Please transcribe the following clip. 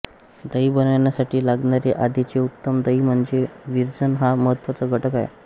दही बनविण्यासाठी लागणारे आधीचे उत्तम दही म्हणजे विरजण हा महत्वाचा घटक आहे